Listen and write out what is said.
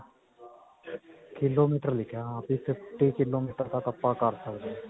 kilometer ਲਿਖਿਆ ਤੇ fifty-kilometer ਤੱਕ ਆਪਾਂ ਕਰ ਸਕਦੇ ਹਾਂ.